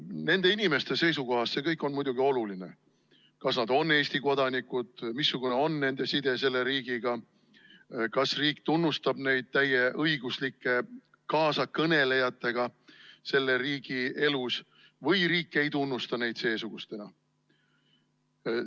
Nende inimeste seisukohast on see kõik muidugi oluline, see, kas nad on Eesti kodanikud, missugune on nende side selle riigiga, kas riik tunnustab neid täieõiguslike kaasakõnelejatena selle riigi elus või riik ei tunnusta neid seesugustena.